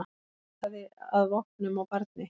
Leitaði að vopnum á barni